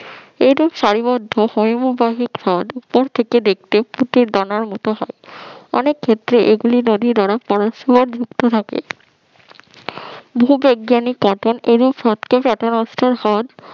এটি সারিবদ্ধ হিমবাহ উপর থেকে দেখতে পাখির দানার মতন হয় অনেক ক্ষেত্রে এগুলো নদীর পাশে যুক্ত থাকে ভূবিজ্ঞানী কটন